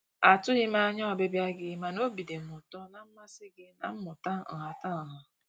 A tụghị m anya ọbịbịa gị mana obi dị m ụtọ na mmasị gị na mmụta nhatanha.